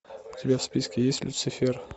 у тебя в списке есть люцифер